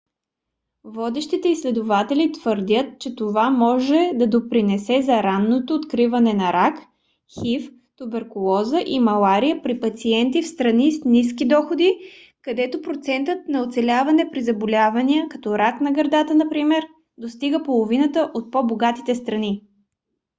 водещи изследователи твърдят че това може да допринесе за ранното откриване на рак хив туберкулоза и малария при пациенти в страни с ниски доходи където процентът на оцеляване при заболявания като рак на гърдата например достига половината от по-богатите страни